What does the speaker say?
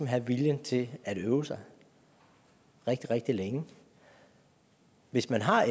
have viljen til at øve sig rigtig rigtig længe hvis man har